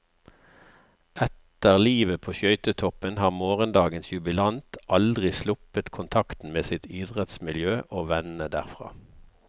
Etter livet på skøytetoppen har morgendagens jubilant aldri sluppet kontakten med sitt idrettsmiljø og vennene derfra.